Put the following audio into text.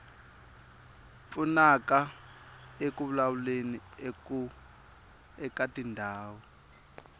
pfunaka eku vulavuleni eka tindhawu